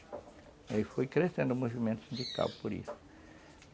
Aí foi crescendo o movimento sindical por isso.